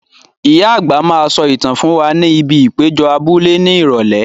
Ìyá àgbà máa sọ ìtàn fún wa ní ibi ìpéjọ abúlé ní Ìrọ̀lẹ́ yìí.